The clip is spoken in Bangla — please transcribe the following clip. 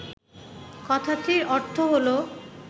কথাটির অর্থ হল